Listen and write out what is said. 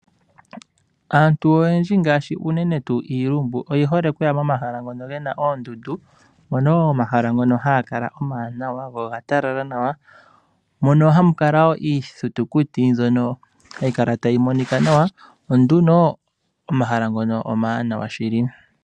Aantu oyendji ngaashi uunene tuu iilumbu, oyi hole okuya momahala ngono gena oondundu. Mono wo omahala ngono hagakala omaanawa go ogatala nawa, mono hamukala wo iithitukuti mbyono hayikala tayi monika nawa onduno, omahala ngono omawanawa shili.